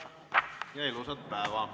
Istungi lõpp kell 15.38.